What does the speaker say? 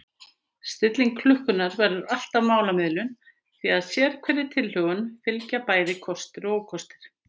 Stilling klukkunnar verður alltaf málamiðlun því að sérhverri tilhögun fylgja bæði kostir og ókostir.